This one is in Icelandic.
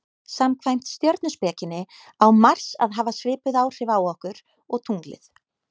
samkvæmt stjörnuspekinni á mars að hafa svipuð áhrif okkur og tunglið